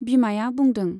बिमाया बुंदों।